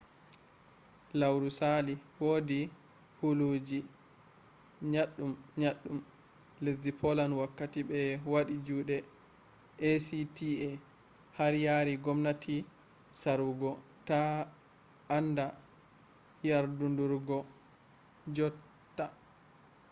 lauru sali wodi huluji nyaddun-nyaddun lesdi poland wakkati be wadi jude acta har yari gomnati sarwugo ta a anda yardudurgo jot ta